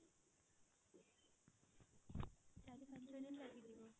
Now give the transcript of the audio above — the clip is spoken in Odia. ଚାରି ପାଞ୍ଚ ଦିନ ଲାଗିଯିବ?